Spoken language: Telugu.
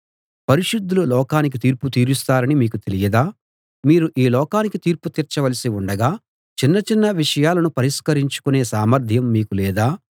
పరిశుద్ధులు లోకానికి తీర్పు తీరుస్తారని మీకు తెలియదా మీరు ఈ లోకానికి తీర్పు తీర్చవలసి ఉండగా చిన్న చిన్న విషయాలను పరిష్కరించుకొనే సామర్ధ్యం మీకు లేదా